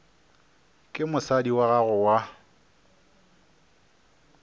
ke mosadi wa gago wa